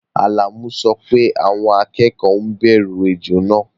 Alamu ní àwọn akẹ́kọ̀ọ́ ńbẹ̀rù ejò náà